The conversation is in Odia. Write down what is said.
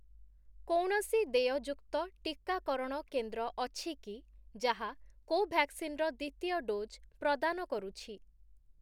କୌଣସି ଦେୟଯୁକ୍ତ ଟିକାକରଣ କେନ୍ଦ୍ର ଅଛି କି ଯାହା କୋଭ୍ୟାକ୍ସିନ୍‌ର ଦ୍ୱିତୀୟ ଡୋଜ୍‌ ପ୍ରଦାନ କରୁଛି ?